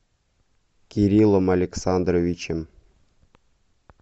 кириллом александровичем